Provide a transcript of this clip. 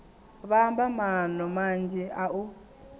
vhamba maano manzhi a u